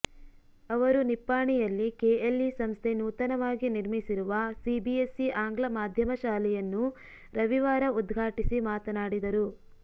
ಅವರು ನಿಪ್ಪಾಣಿಯಲ್ಲಿ ಕೆಎಲ್ಇ ಸಂಸ್ಥೆ ನೂತನವಾಗಿ ನಿರ್ಮಿಸಿರುವ ಸಿಬಿಎಸ್ಇ ಆಂಗ್ಲ ಮಾಧ್ಯಮ ಶಾಲೆಯನ್ನು ರವಿವಾರ ಉದ್ಘಾಟಿಸಿ ಮಾತನಾಡಿದರು